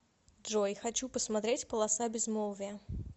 джой хочу посмотреть полоса безмолвия